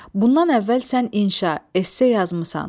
Bundan əvvəl sən inşaa, esse yazmısan.